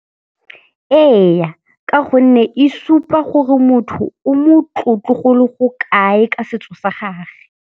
Eya, ka gonne e supa gore motho o motlotlo golo go kae ka setso sa gage.